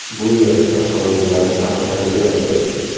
Bu yer avtomobillarni tarqatadigan joy.